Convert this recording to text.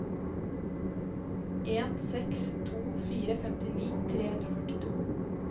en seks to fire femtini tre hundre og førtito